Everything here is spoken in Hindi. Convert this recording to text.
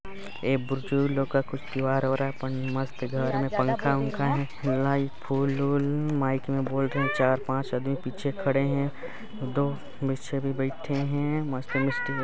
ए लोग का कुछ त्योहार हो रहा है मस्त पंखा वनख है लाई फूल उल माइक मे बोल रहे चार-पांच आदमी पीछे खड़े है दो नीचे बैठे है मस्त मस्त--